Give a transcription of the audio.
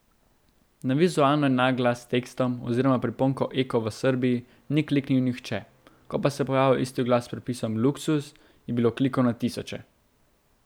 Na vizualno enak oglas s tekstom oziroma priponko eko v Srbiji ni kliknil nihče, ko pa se je pojavil isti oglas s pripisom luksuz, je bilo klikov na tisoče.